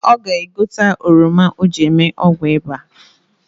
Ọ ga-egote oroma o ji eme ọgwụ ịba